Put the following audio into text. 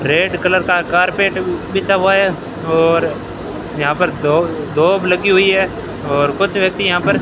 red colour का carpet बिछा हुआ है और यहां पर दो दोब लगी हुई है और कुछ व्यक्ति यहां पर --